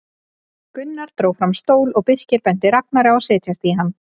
Gunnar dró fram stól og Birkir benti Ragnari að setjast í hann.